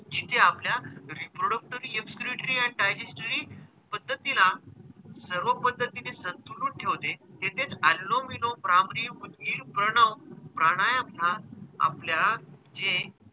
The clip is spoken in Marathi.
जिचे आपल्या reproductory, excretory and digestary पद्धतीला सर्व पद्धतीने सदृढ ठेवते. तेथेच अनुलोम विलोम, भ्रामरी प्रणव प्राणायम ह्या आपल्या जे,